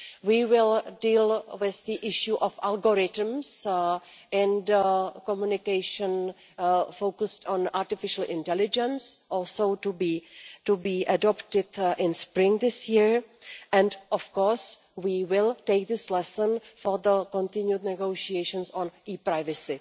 We will deal with the issue of algorithms and communication focused on artificial intelligence, also to be adopted in spring this year. And, of course, we will take this as a lesson for the continued negotiations on e privacy.